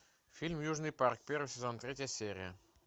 фильм южный парк первый сезон третья серия